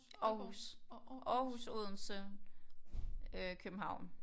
Aarhus Aarhus Odense øh København